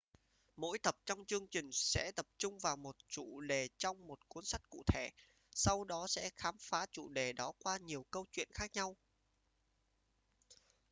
mỗi tập trong chương trình sẽ tập trung vào một chủ đề trong một cuốn sách cụ thể sau đó sẽ khám phá chủ đề đó qua nhiều câu chuyện khác nhau